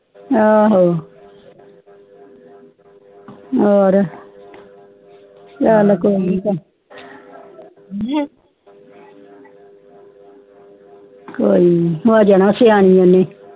ਆਹੋ ਹੋਰ ਚਾਲ ਕੋਈ ਨੀ ਕੋਈ ਨੀ ਹੋ ਜਾਣਾ ਸਿਆਣੀ ਊਣੇ